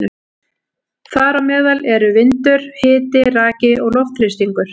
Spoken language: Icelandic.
Þar á meðal eru vindur, hiti, raki og loftþrýstingur.